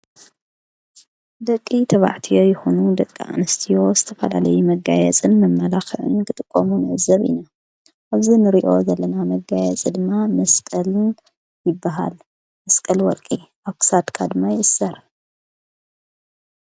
ደቂ ተባዕት ይኹኑ ደቂ ኣንስትዮ ስተፋዳለይ መጋየ ጽድ ኣማላኽዕን ክጥቆሙ ነዘብ ኢነ እዚ ንርእዮ ዘለና መጋየ ጽድማ ምስጠልን ይበሃል። መስቀል ወርቂ ኣሳድ ድማ የስርሕ።